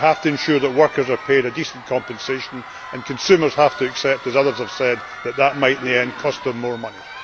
they have to ensure that workers are paid a decent compensation and consumers have to accept, as others have said, that this might in the end cost them more money.